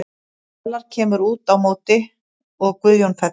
Fjalar kemur út á móti og Guðjón fellur.